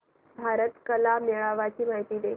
भारत कला मेळावा ची माहिती दे